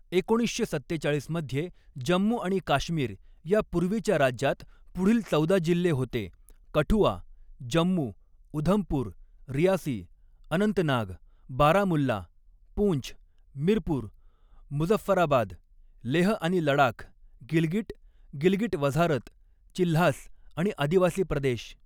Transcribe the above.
एकोणीसशे सत्तेचाळीस मध्ये जम्मू आणि काश्मीर या पूर्वीच्या राज्यात पुढील चौदा जिल्ले होते कठुआ, जम्मु, उधमपूर, रियासी, अनंतनाग, बारामुल्ला, पुंछ, मिरपूर, मुझफ्फराबाद, लेह आनि लडाख, गिलगिट, गिलगिट वझारत, चिल्हास आणि आदिवासी प्रदेश.